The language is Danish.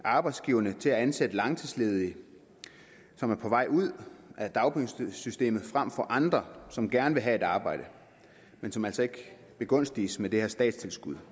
arbejdsgiverne til at ansætte langtidsledige som er på vej ud af dagpengesystemet frem for andre som gerne vil have et arbejde men som altså ikke begunstiges med det her statstilskud